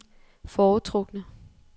foretrukne